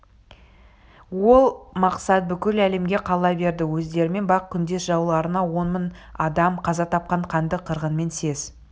ол мақсат бүкіл әлемге қала берді өздерімен бақ күндес жауларына он мың адам қаза тапқан қанды қырғынмен сес